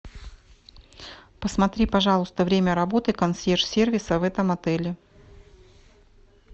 посмотри пожалуйста время работы консьерж сервиса в этом отеле